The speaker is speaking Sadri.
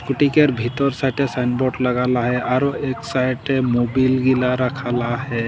स्कूटी केर भीतोर साइडे साइनबोर्ड लगल आहे आरो एक साइडे मोबील गीला रखाल आहे।